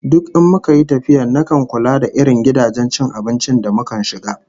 Duk in muka yi tafiya nakan kula da irin gidajen cin abinci da mukan shiga